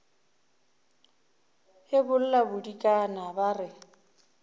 e bolla bodikana ba re